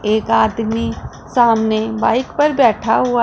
एक आदमी सामने बाइक पर बैठा हुआ--